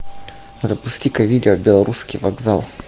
запусти ка видео белорусский вокзал